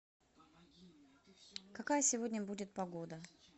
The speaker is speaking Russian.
какая сегодня будет погода